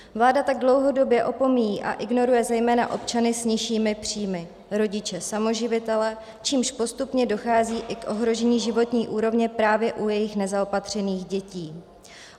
Vláda tak dlouhodobě opomíjí a ignoruje zejména občany s nižšími příjmy, rodiče samoživitele, čímž postupně dochází i k ohrožení životní úrovně právě u jejich nezaopatřených dětí.